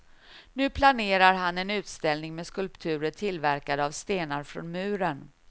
Nu planerar han en utställning med skulpturer tillverkade av stenar från muren.